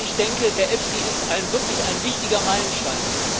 Also ich denke, der EFSI ist wirklich ein wichtiger Meilenstein.